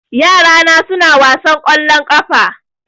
Yara na suna wasan ƙwallon ƙafa